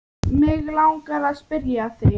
Mig langar að spyrja þig.